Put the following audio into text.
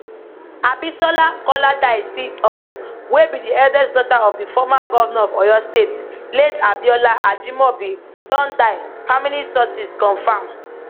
abisola koladaisi um wey be di eldest daughter of di former govnor of oyo state late abiola ajimobi don die family sources confam